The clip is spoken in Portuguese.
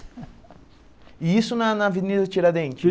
E isso na na Avenida Tiradentes?